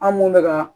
An mun bɛka ka